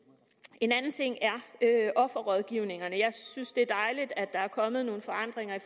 en anden ting er offerrådgivningerne jeg synes det er dejligt at der er kommet nogle forandringer